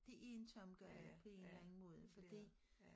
Det er en tom gade på en eller anden måde fordi